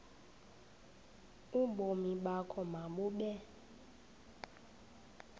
ubomi bakho mabube